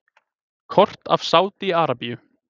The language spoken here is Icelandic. Kort af Sádi-Arabíu.